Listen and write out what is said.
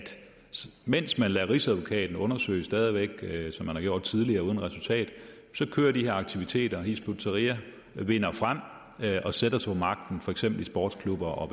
mens man lader rigsadvokaten undersøge det stadig væk som man har gjort tidligere uden resultat så kører de her aktiviteter hizb ut tahrir vinder frem og sætter sig på magten for eksempel i sportsklubber og